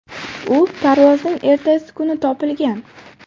U parvozning ertasi kuni topilgan.